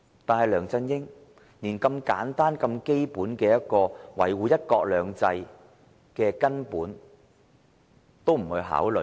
可是，梁振英連這個如此簡單和基本、一個維護"一國兩制"的根本也未有考慮。